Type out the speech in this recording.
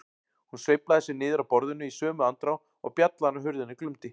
Hún sveiflaði sér niður af borðinu í sömu andrá og bjallan á hurðinni glumdi.